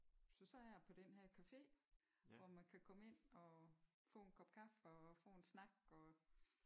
Så sad jeg på den her café hvor man kan komme ind og få en kop kaffe og få en snak og